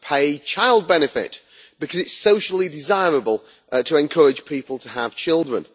We pay child benefit because it is socially desirable to encourage people to have children.